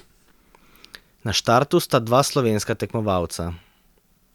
Na štartu sta dva slovenska tekmovalca.